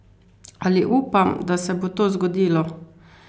Ali upam, da se bo to zgodilo?